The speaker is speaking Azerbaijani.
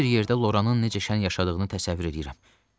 Belə bir yerdə Loranın necə şən yaşadığını təsəvvür eləyirəm.